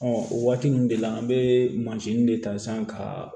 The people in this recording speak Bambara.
o waati ninnu de la an bɛ mansini de ta san ka